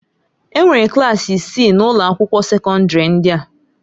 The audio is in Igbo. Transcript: Enwere klaasị isii na ụlọ akwụkwọ sekọndrị ndị a.